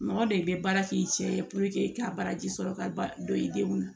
Mɔgɔ dɔ i bɛ baara k'i cɛ ye k'a baraji sɔrɔ ka don i denw na